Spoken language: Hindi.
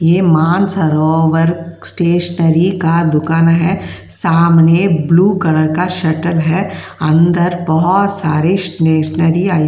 ये मानसरोवर स्टेशनरी का दुकान है। सामने ब्लू कलर का शटर है। अंदर बोहोत सारी स्टेशनरी --